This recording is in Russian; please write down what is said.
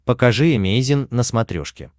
покажи эмейзин на смотрешке